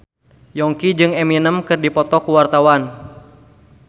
Yongki jeung Eminem keur dipoto ku wartawan